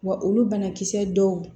Wa olu banakisɛ dɔw